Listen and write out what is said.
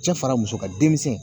Cɛ fara muso kan denmisɛnnin